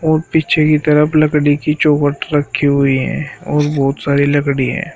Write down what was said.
और पीछे की तरफ लकड़ी की चौखट रखी हुई है और बहुत सारी लकड़ी हैं।